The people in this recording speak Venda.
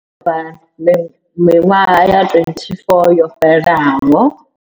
Miṅwahani ya 24 yo fhelaho.